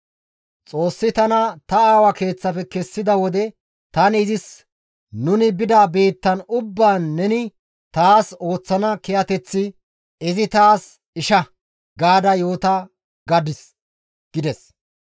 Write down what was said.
Xoossi tana ta aawa keeththafe kessida wode tani izis nuni bida biittan ubbaan neni taas ooththana kiyateththi, ‹Izi taas isha› gaada yoota gadis» gides.